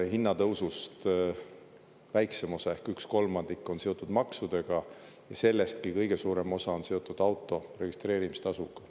Hinnatõusust väiksem osa ehk üks kolmandik on seotud maksudega ja sellestki kõige suurem osa on seotud auto registreerimise tasuga.